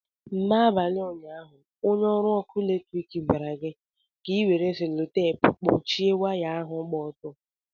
N'abalị ụnyaahụ, onye ọrụ ọkụ eletrik gwara gị ka ị were selutepu kpuchie waya ahụ gba ọtọ.